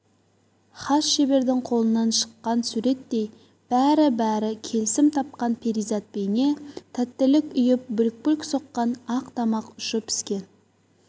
хас шебердің қолынан шыққан суреттей бәрі-бәрі келісім тапқан перизат бейне тәттілік ұйып бүлк-бүлк соққан ақ тамақ ұшы піскен